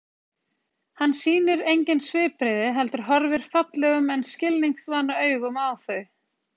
Hann sýnir engin svipbrigði heldur horfir fallegum en skilningsvana augum á þau.